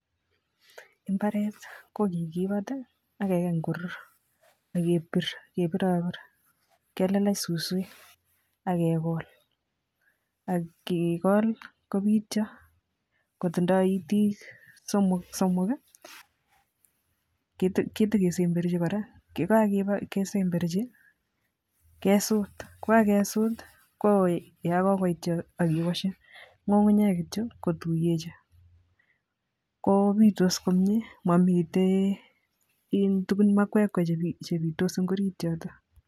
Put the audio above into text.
Imbaret ko kikipat ak kekany korur ak kepir kepiropir kelelech suswek ak kekol ak kekol kopityo kotindoi itik somok somok kii kite ketekesemberchi Koraa yekakesemberchi kesut, kokakesut koityo ak kewoshi ngungunyek kityok kituyechi ko pitos komie momiten tukun iih makwekwe chepitos en orit yoto.